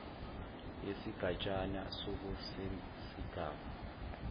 yesigatshana soku sesigaba